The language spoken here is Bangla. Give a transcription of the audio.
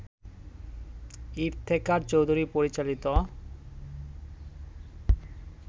ইফতেখার চৌধুরী পরিচালিত